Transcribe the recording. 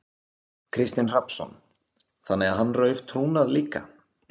Kristinn Hrafnsson: Þannig að hann rauf trúnað líka?